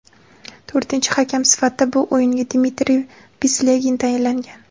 To‘rtinchi hakam sifatida bu o‘yinga Dmitriy Pislegin tayinlangan.